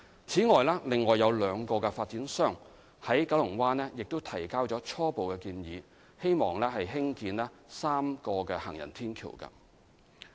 此外，另有兩個發展商在九龍灣提交了初步建議，擬議興建3道行人天橋。